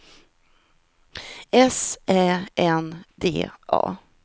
S Ä N D A